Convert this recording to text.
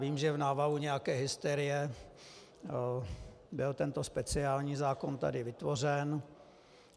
Vím, že v návalu nějaké hysterie byl tento speciální zákon tady vytvořen.